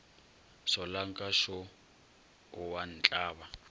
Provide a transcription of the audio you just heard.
solanka šo o a ntlaba